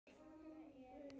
Á því er mikill munur.